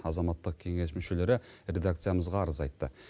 азаматтық кеңес мүшелері редакциямызға арыз айтты